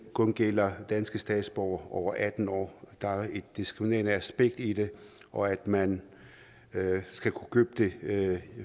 kun gælder danske statsborgere over atten år der er et diskriminerende aspekt i det og at man skal kunne købe det det